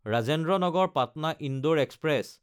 Rajendra Nagar Patna Indore express